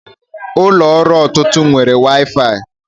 Ụlọ ọrụ ọtụtụ nwere waifai